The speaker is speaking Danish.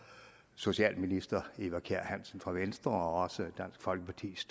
socialminister fru eva kjer hansen fra venstre og også dansk folkepartis